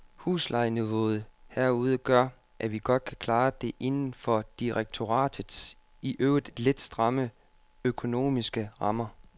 Huslejeniveauet herude gør, at vi godt kan klare det inden for direktoratets i øvrigt lidt stramme, økonomiske rammer.